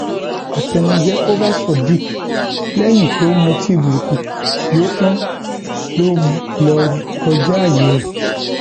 àtẹnuje kò bá sadiq lẹyìn tó mutí burúkutu yọ tán ló lọọ kọjá ààyè ẹ